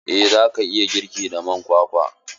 Eh za ki iya girki da man kwakwa.